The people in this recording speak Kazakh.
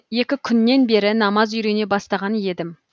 екі күннен бері намаз үйрене бастаған едім